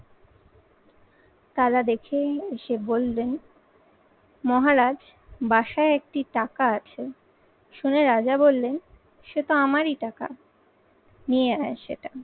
তারা দেখে এসে বলবেন মহারাজ বাসায় একটি টাকা আছে। শুনে রাজা বললেন সে তো আমারি টাকা নিয়ে আয়।